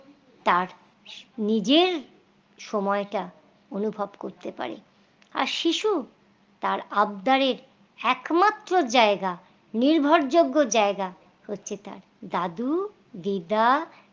তার নিজের সময়টা অনুভব করতে পারে আর শিশু তার আবদারের একমাত্র জায়গা নির্ভর যোগ্য জায়গা হচ্ছে তার দাদু দিদা